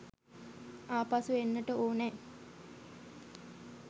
ආපසු එන්නට ඕනෑ